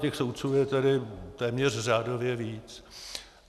Těch soudců je tedy téměř řádově víc.